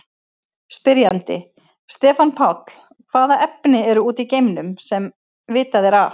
Spyrjandi: Stefán Páll Hvaða efni eru úti í geimnum, sem vitað er af?